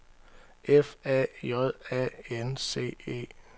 F A J A N C E